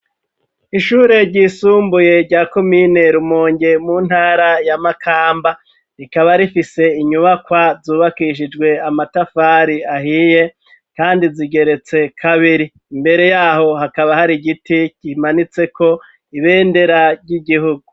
Ishure ryisumbuye rya kuminerumongye mu ntara yamakamba rikaba rifise inyubakwa zubakishijwe amatafari ahiye, kandi zigeretse kabiri imbere yaho hakaba hari giti gimanitseko ibendera ry'igihugu.